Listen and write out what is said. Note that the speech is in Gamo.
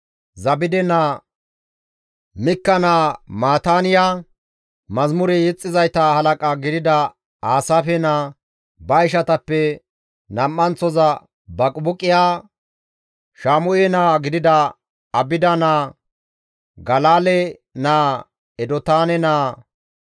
Zabde naa, Mikka naa Maataaniya, mazamure yexxizayta halaqa gidida Aasaafe naa, ba ishatappe nam7anththoza Baqibuqiya, Shaamu7e naa gidida Abida naa, Galaale naa, Edotaane naa.